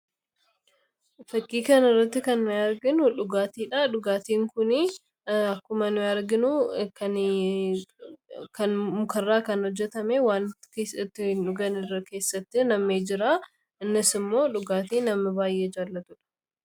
fakkiikan irratti kan nuyaarginu dhugaatiidha dhugaatiin kunii akkuma nuyaarginuu kan mukarraa kan hojjetame waan keessattiin dhuganirra keessatti namnii jiraa innas immoo dhugaatii namni baay'ee jaalatuudha